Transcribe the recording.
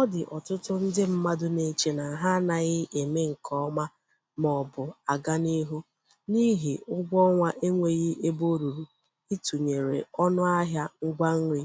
Ọdị ọtụtụ ndị mmadụ na-eche na ha anaghị eme nke ọma maọbụ aganihu n'ihi ụgwọ ọnwa enweghị ebe ruru ịtụnyere ọnụ ahịa ngwa nri